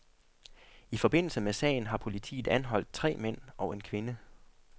I forbindelse med sagen har politiet anholdt tre mænd og en kvinde.